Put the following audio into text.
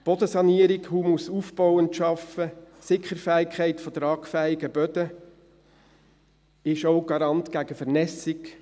Bodensanierung, humusaufbauend arbeiten, Sickerfähigkeit von tragfähigen Böden sind auch Garant gegen Vernässung.